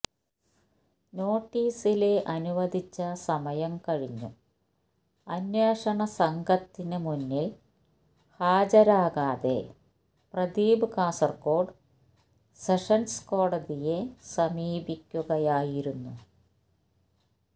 നോട്ടീസില് അനുവദിച്ച സമയം കഴിഞ്ഞും അന്വേഷണ സംഘത്തിന് മുന്നില് ഹാജരാകാതെ പ്രദീപ് കാസര്കോട് സെഷന്സ് കോടതിയെ സമീപിക്കുകയായിരുന്നു